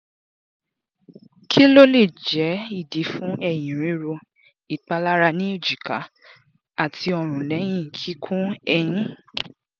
ki lo le jẹ idi fun eyin riro ipalara ni ejika ati ọrun lẹhin kikun eyin? um